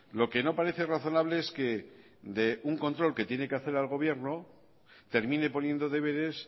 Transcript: lo que no parece razonable es que de un control que tiene que hacer al gobierno termine poniendo deberes